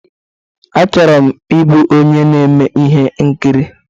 Achọrọ m ịbụ onye na-eme ihe nkiri.